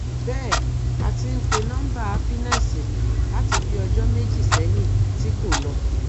bẹẹ á ti ń pe nọmba happiness láti bíi ọjọ méjì sẹyìn tí kò lọ